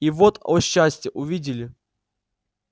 и вот о счастье увидели